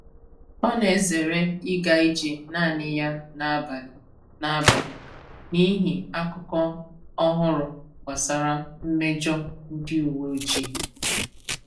Ọ na-ezere ịga ije naanị ya n’abalị n’abalị n’ihi akụkọ ọhụrụ gbasara mmejọ ndị uwe ojii.